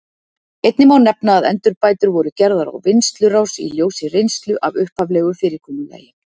Einnig má nefna að endurbætur voru gerðar á vinnslurás í ljósi reynslu af upphaflegu fyrirkomulagi.